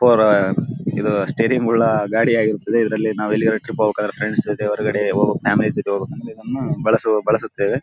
ಅಪ್ಪುಅವರ ಇದು ಸ್ಟೇಡಿಯಂ ಉಳ್ಳ ಗಾಡಿ ಆಗಿರುತ್ತದ್ದೆ ಇದರಲ್ಲಿ ನಾವು ಎಲ್ಲಿಗದ್ರು ಟ್ರಿಪ್ ಹೋಗ್ಬೇಕಾದರೆ ಫ್ರೆಂಡ್ಸ್ ಜೊತೆ ಹೊರಗಡೆ ಹೋಗಬೇಕು ಫ್ಯಾಮಿಲಿ ಜೊತೆ ಹೋಗ್ಬೇಕು ಅಂತ ಇದನ್ನ ಬಲೇಸು ಬಳಸುತ್ತವೆ.